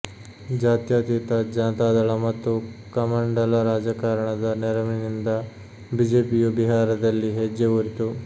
ಜಾತ್ಯತೀತ ಜನತಾದಳ ಮತ್ತು ಕಮಂಡಲ ರಾಜಕಾರಣದ ನೆರವಿನಿಂದ ಬಿಜೆಪಿಯೂ ಬಿಹಾರದಲ್ಲಿ ಹೆಜ್ಜೆ ಊರಿತು